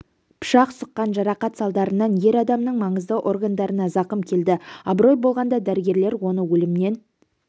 пышақ сұққан жарақат салдарынан ер адамның маңызды органдарына зақым келді абырой болғанда дәрігерлер оны өлімнен